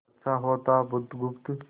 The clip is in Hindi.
अच्छा होता बुधगुप्त